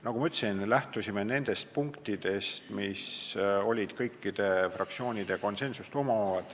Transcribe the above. Nagu ma ütlesin, me lähtusime nendest punktidest, kus kõik fraktsioonid olid saavutanud konsensuse.